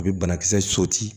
A bɛ banakisɛ